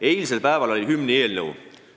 Eilsel päeval oli arutusel hümniseaduse eelnõu.